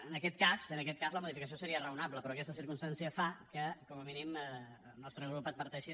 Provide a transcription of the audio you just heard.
en aquest cas en aquest cas la modificació seria raonable però aquesta circumstància fa que com a mínim el nostre grup adverteixi